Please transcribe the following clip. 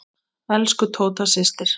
Elsku Tóta systir.